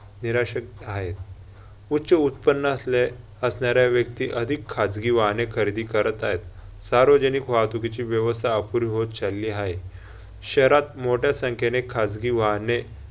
निराशक हाय. उच्च उत्पन्न असले असणाऱ्या व्यक्ती अधिक खाजगी वाहने खरेदी करत हायत. सार्वजनिक वाहतुकीची व्यवस्था अपुरी होत चालली हाये. शहरात मोठ्या संख्याने खाजगी वाहने